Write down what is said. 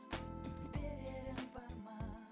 берерім бар ма